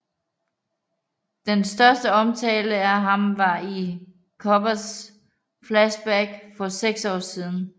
Den største omtale af ham var i Choppers flashback for 6 år siden